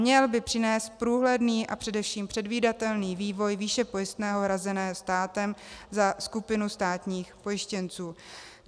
Měl by přinést průhledný a především předvídatelný vývoj výše pojistného hrazeného státem za skupinu státních pojištěnců.